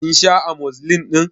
Kin sha Amozilin ɗin?